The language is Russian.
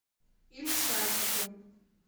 ильшатику